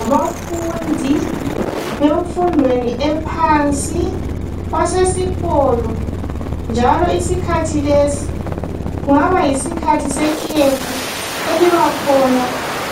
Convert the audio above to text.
Abafundi bemfundweni ephansi basesikolo njalo isikhathi lesi kungaba yisikhathi sekhefu elibakhona